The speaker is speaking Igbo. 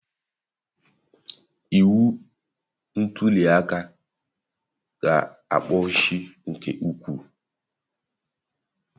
Iwu ntuli aka ga-egbochi nke ukwuu